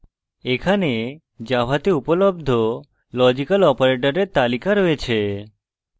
এখানে জাভাতে উপলব্ধ লজিক্যাল অপারেটরের তালিকা রয়েছে